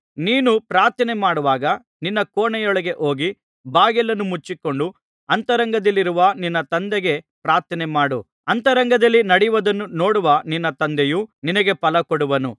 ನೀನು ಪ್ರಾರ್ಥನೆಮಾಡುವಾಗ ನಿನ್ನ ಕೋಣೆಯೊಳಗೆ ಹೋಗಿ ಬಾಗಿಲನ್ನು ಮುಚ್ಚಿಕೊಂಡು ಅಂತರಂಗದಲ್ಲಿರುವ ನಿನ್ನ ತಂದೆಗೆ ಪ್ರಾರ್ಥನೆಮಾಡು ಅಂತರಂಗದಲ್ಲಿ ನಡೆಯುವುದನ್ನು ನೋಡುವ ನಿನ್ನ ತಂದೆಯು ನಿನಗೆ ಫಲಕೊಡುವನು